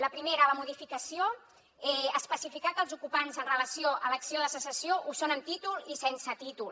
la primera la modificació especificar que els ocupants en relació amb l’acció de cessació ho són amb títol i sense títol